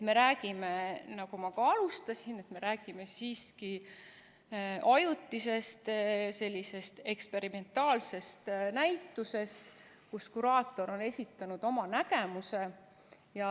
Me räägime, nagu ma ka alustasin, siiski ajutisest eksperimentaalsest näitusest, kus kuraator on esitanud oma nägemuse.